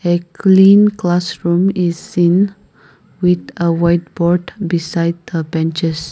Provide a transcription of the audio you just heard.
a clean classroom is in with uh white board beside the benches.